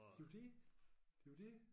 Det jo dét det jo dét